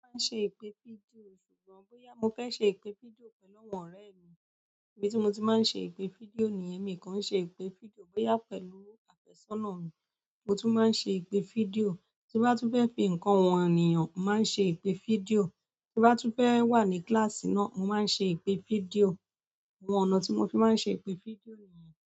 Mo máa ń ṣe ìpè fídíò, ṣùgbọ́n bóyá mo fẹ́ ṣe ìpè fídíò pẹ̀lú àwọn ọ̀rẹ́ mi, ibi tí mo ti máa ń ṣe ìpè fídíò niyen mi kan i ṣe ìpè fídíò, bóyá pẹ̀lú àfẹ́sọ́nà mi, mo tún máa ń ṣe ìpè fídíò. Ti mo bá tu fẹ́ fi ǹkan han ènìyàn, mo màá n ṣe ìpè fídíò. Ti mo bá túbọ̀ fẹ́ wà ní kíláàsì náà, màá ṣe ìpè fídíò. Àwọn ọ̀nà tí mo fi máa ń ṣe ìpè fídíò nìyẹn.